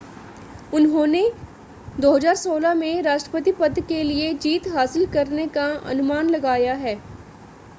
उन्होंने 2016 में राष्ट्रपति पद के लिए जीत हासिल करने का अनुमान लगाया है